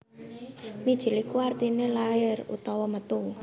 Mijil iku artine lair utawa metu